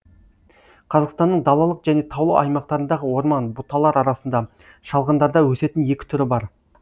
қазақстанның далалық және таулы аймақтарындағы орман бұталар арасында шалғындарда өсетін екі түрі бар